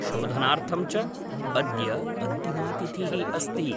शोधनार्थं च अद्य अन्तिमा तिथिः अस्ति।